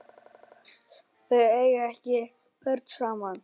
Þau eiga ekki börn saman.